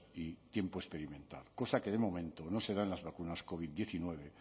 y tiempo experimentado cosa que de momento no se da en las vacunas covid diecinueve